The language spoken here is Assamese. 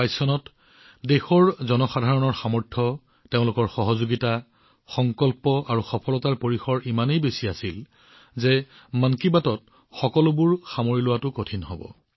২০২২ চনত দেশৰ জনসাধাৰণৰ শক্তি তেওঁলোকৰ সহযোগিতা তেওঁলোকৰ সংকল্প তেওঁলোকৰ সফলতাৰ সম্প্ৰসাৰণ ইমানেই আছিল যে সেই আটাইসমূহ মন কী বাতত অন্তৰ্ভুক্ত কৰাটো কঠিন হব